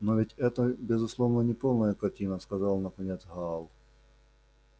но ведь это безусловно неполная картина сказал наконец гаал